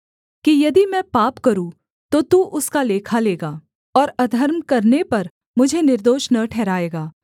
कि यदि मैं पाप करूँ तो तू उसका लेखा लेगा और अधर्म करने पर मुझे निर्दोष न ठहराएगा